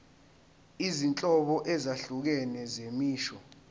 izinhlobo ezahlukene zemisho